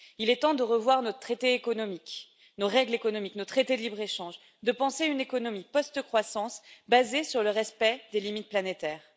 Il est temps de revoir notre traité économique, nos règles économiques, nos traités de libre échange, de penser une économie post croissance basée sur le respect des limites planétaires.